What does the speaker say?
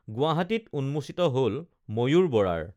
গুৱাহাটীত উন্মোচিত হল ময়ূৰ বৰাৰ